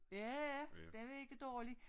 Ja ja den var ikke dårlig